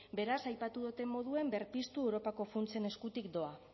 beraz aipatu doten moduen berpiztu europako funtsen eskutik doa